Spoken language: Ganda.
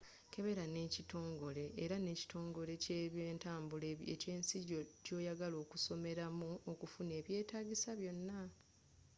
kebera ne kitongole era ne ekitongole kyentambula ekyensi gyoyagala okusomeramu okufuna ebyetagisa byonna